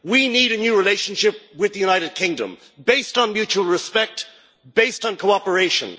We need a new relationship with the United Kingdom based on mutual respect, based on cooperation.